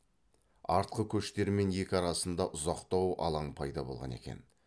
артқы көштермен екі арасында ұзақтау алаң пайда болған екен